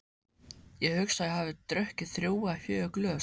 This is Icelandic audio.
Ég hugsa að ég hafi drukkið þrjú eða fjögur glös.